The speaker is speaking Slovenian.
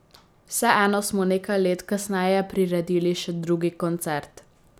Vseeno smo nekaj let kasneje priredili še drugi koncert.